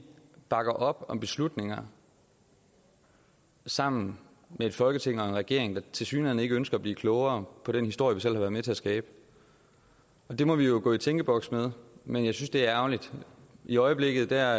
bakker op om beslutninger sammen med et folketing og en regering der tilsyneladende ikke ønsker at blive klogere på den historie vi selv har været med til at skabe det må vi jo gå i tænkeboks med men jeg synes det er ærgerligt i øjeblikket er